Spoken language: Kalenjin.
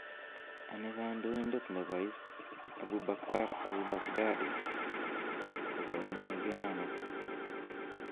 Anii kondoindet nebo Is Abu Bakr al-Baghdadi kogaunyenge ano?